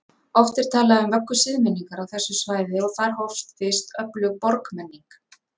Oft er talað um vöggu siðmenningar á þessu svæði og þar hófst fyrst öflug borgmenning.